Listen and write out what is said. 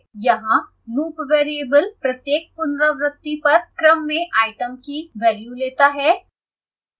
यहाँ loop variable प्रत्येक पुनरावृति पर क्रम में आइटम की वेल्यू लेता है